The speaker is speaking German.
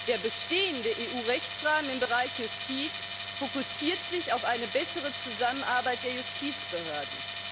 Der bestehende EU Rechtsrahmen im Bereich Justiz fokussiert sich auf eine bessere Zusammenarbeit der Justizbehörden.